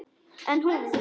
En hún.